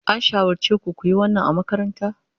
An shawarce ku ku yi wannan a makaranta.